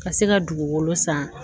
Ka se ka dugukolo san